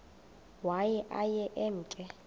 waye aye emke